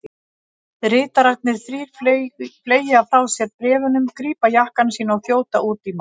Ritararnir þrír fleygja frá sér bréfunum, grípa jakkana sína og þjóta út í mat.